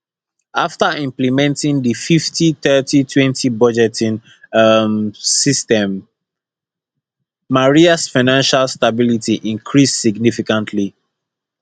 afta implementing di 503020 budgeting um system marias financial stability increased significantly